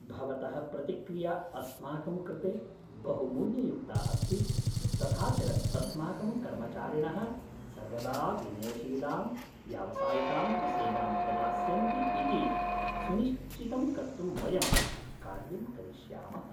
भवतः प्रतिक्रिया अस्माकं कृते बहुमूल्ययुक्ता अस्ति, तथा च अस्माकं कर्मचारिणः सर्वदा विनयशीलां व्यावसायिकां च सेवां प्रदास्यन्ति इति सुनिश्चितं कर्तुं वयं कार्यं करिष्यामः।